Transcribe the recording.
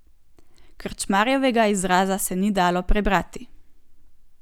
Krčmarjevega izraza se ni dalo prebrati.